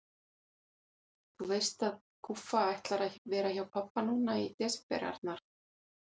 Þú veist að Guffa ætlar að vera hjá pabba núna í desember, Arnar